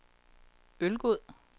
Ølgod